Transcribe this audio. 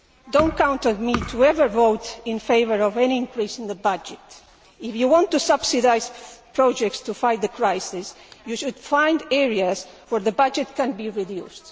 Do not count on me ever to vote in favour of any increase in the budget. If you want to subsidise projects to fight the crisis, you should find areas where the budget can be reduced.